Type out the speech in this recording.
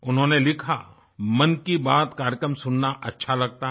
उन्होंने लिखा मन की बात कार्यक्रम सुनना अच्छा लगता है